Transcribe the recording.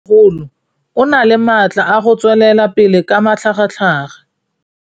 Mmêmogolo o na le matla a go tswelela pele ka matlhagatlhaga.